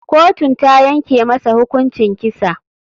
Kotun tayanke masa hukuncin kisa.